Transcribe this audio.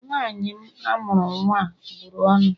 Nwanyị m amuru nwa a bụrụ ọnụ